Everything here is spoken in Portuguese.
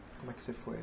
Como é que você foi?